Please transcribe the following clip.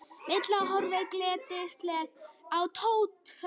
Milla horfði glettnislega á Tóta.